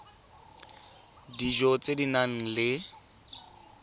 dijo tse di nang le